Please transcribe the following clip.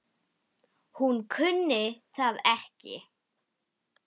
Hún kunni það ekki.